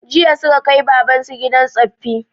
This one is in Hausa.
Jiya suka kai baban su gidan tsoffi